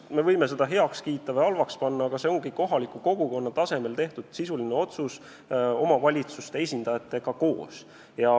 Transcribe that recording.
Me võime seda heaks kiita või mitte, aga see on sisuline otsus, mis on tehtud kohaliku kogukonna tasemel koos omavalitsuste esindajatega.